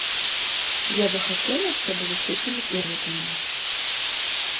я бы хотела чтобы вы включили первый канал